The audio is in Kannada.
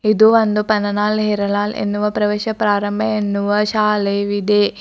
ಇದು ಒಂದು ಪನ್ನಲಾಲ್ ಹೀರಾಲಾಲ್ ಎನ್ನುವ ಪ್ರವೇಶ ಪ್ರಾರಂಭ ಎನ್ನುವ ಶಾಲೆಯಿದೆ.